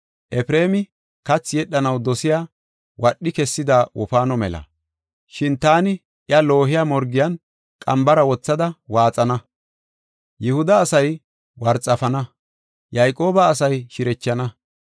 Efreemi kathi yedhanaw dosiya wadhi kessida wofaano mela. Shin taani iya lo77iya morgiyan qambara wothada waaxana. Yihuda asay worxafana; Yayqooba asay shirechana.